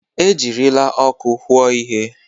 Ejirila ọkụ hụụo ihe.